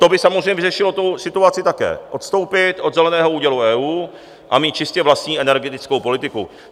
To by samozřejmě vyřešilo tu situaci také - odstoupit od Zeleného údělu EU a mít čistě vlastní energetickou politiku.